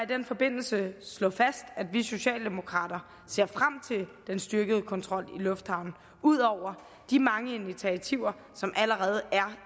den forbindelse slå fast at vi socialdemokrater ser frem til den styrkede kontrol i lufthavnen ud over de mange initiativer som allerede er